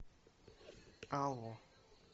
алло